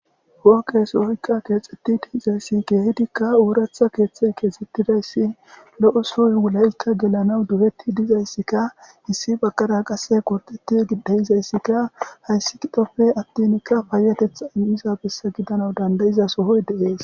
Hookkesohoykka keexetti dihizayssi geehidikka ooratha keeththe keexxettidayssi lo'o suy wulaykka gelanaw duhetti dizayssikka hissi bakkara qase qorteti dehizayssikka hayssi qidopfe attinkka paayetethaniza bessa gidana dandayiza sohoy deees.